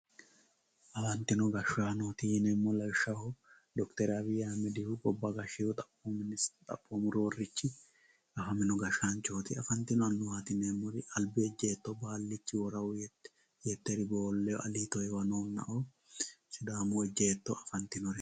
afantino gashshaanooti yineemmori lawishshaho d/r abiyyi ahiimmedihu gobba gashshewooho xaphoomu ministerchi xaphoomu roorrichi afamino gashshaanchooti afantino annuwaati yineemmori albi ejjeetto baallichi woraawohu yetteri boollehu aliito heewanohunna"oo sidaamu ejjeetto afantinoteeti